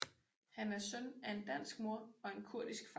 Han er søn af en dansk mor og en kurdisk far